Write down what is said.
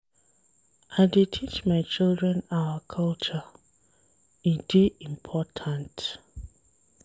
I dey teach my children our culture, e dey important.